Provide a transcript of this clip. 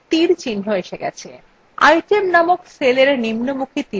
item named cellarrow নিম্নমুখী তীরarrow উপর click করুন